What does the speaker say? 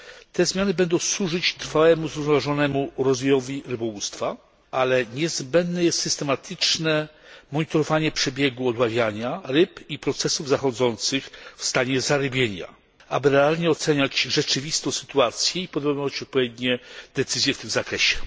Te zmiany będą służyć trwałemu zrównoważonemu rozwojowi rybołówstwa, ale niezbędne jest systematyczne monitorowanie przebiegu odławiania ryb i procesów zachodzących w stanie zarybienia, aby realnie oceniać rzeczywistą sytuację i podejmować odpowiednie decyzje w tym zakresie.